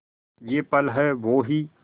ये पल हैं वो ही